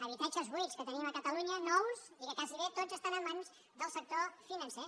habitatges buits que tenim a catalunya nous i que gairebé tots estan en mans del sector finan·cer